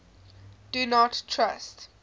do not trust